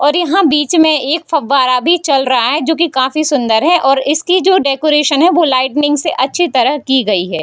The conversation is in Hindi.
और यहाँ बीच में एक फव्वारा भी चल रहा है जो की काफी सुंदर है और इसकी जो डेकोरेशन है वो लाइटनिंग से अच्छी तरह की गई है।